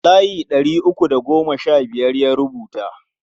Layi ɗari uku da goma sha biyar ya rubuta.